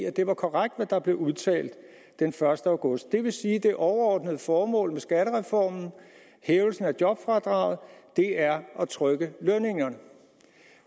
at det var korrekt hvad der blev udtalt den første august det vil sige at det overordnede formål med skattereformen hævelsen af jobfradraget er at trykke lønningerne